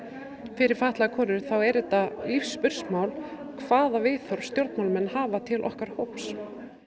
fyrir fatlaðar konur er þetta lífsspursmál hvaða viðhorf stjórnmálamenn hafa til okkar hóps